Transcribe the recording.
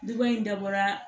Duba in dabɔra